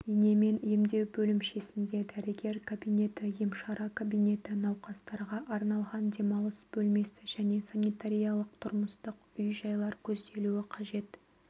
инемен емдеу бөлімшесінде дәрігер кабинеті емшара кабинеті науқастарға арналған демалыс бөлмесі және санитариялық-тұрмыстық үй-жайлар көзделуі қажет